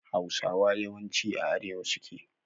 Hausawa yawanci a arewa suke